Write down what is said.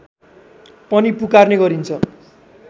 पनि पुकार्ने गरिन्छ